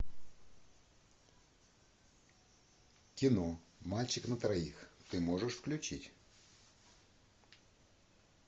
кино мальчик на троих ты можешь включить